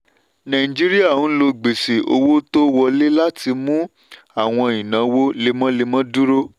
nàìjíríà ń lo gbèsè owó tó wọlé láti mú àwọn ìnáwó lemọ́lemọ́ dúró.